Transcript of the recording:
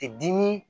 Ti dimi